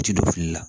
U tɛ don fili la